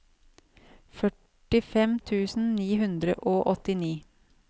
førtifem tusen ni hundre og åttini